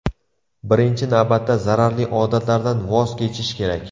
Birinchi navbatda zararli odatlardan voz kechish kerak.